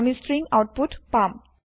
আমি string output পাম